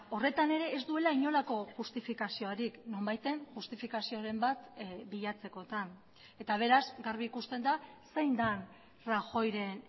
horretan ere ez duela inolako justifikaziorik nonbaiten justifikazioren bat bilatzekotan eta beraz garbi ikusten da zein den rajoyren